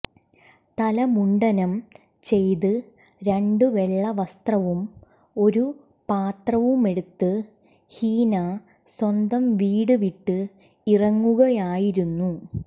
തല മുണ്ഡനം ചെയ്ത് രണ്ട് വെള്ള വസ്ത്രവും ഒരു പാത്രവുമെടുത്ത് ഹീന സ്വന്തം വീട് വിട്ട് ഇറങ്ങുകയായിരുന്നു